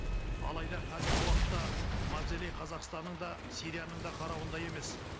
алайда қазіргі уақытта мавзолей қазақстанның да сирияның да қарауында емес